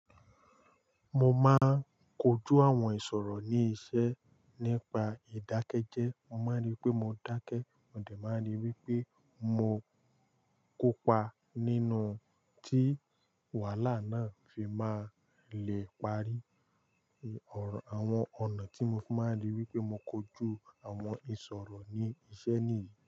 Mo máa ń kojú àwọn ìṣòro ní iṣẹ́ nípa ìdákẹ́jẹ́ẹ́. Mo máa ń ri pé mo dákẹ́, mo dẹ̀ máa ń ri wipe mo kópa nínú tí wàhálà náà fi máa le parí. Àwọn ọ̀nà tí mo fi máa ń rí wípé mo kojú àwọn ìṣòro ní iṣẹ́ nìyí.